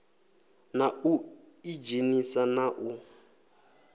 na u idzhenisa na u